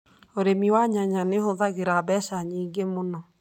ũrĩmi wa nyanya nĩ ũhũthagĩra mbeca nyingĩ mũno.